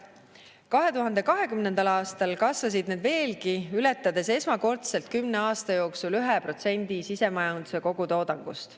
2020. aastal kasvasid need veelgi, ületades esmakordselt 10 aasta jooksul 1% sisemajanduse kogutoodangust.